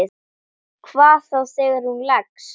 Hvað þá þegar hún leggst.